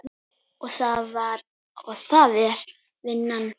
Og það er vinnan.